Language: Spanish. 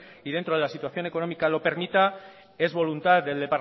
y dentro de que la situación económica lo permita es voluntad